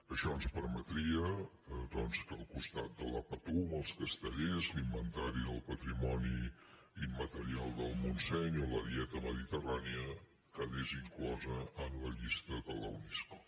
això ens permetria doncs que al costat de la patum o els cas·tellers l’inventari del patrimoni immaterial del mont·seny o la dieta mediterrània quedés inclosa en la llista de la unesco